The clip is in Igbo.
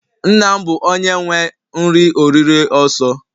Nna m bu onye nwe nri-oriri oso.